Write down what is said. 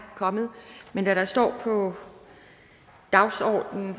kommet men da der står på dagsordenen